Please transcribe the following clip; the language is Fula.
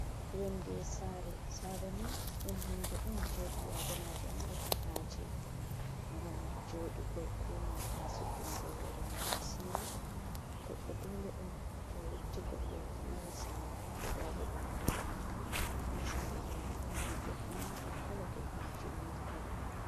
Yonde sare, sareni dum hunde on je bi adamajo marata haje gam jodugo be nanta suddungo hore mum asiri goddo dole on to yotti goddo mara sare, kudabo dum haya on ta sare doni do mari gete manga kolo get majum mil kolo.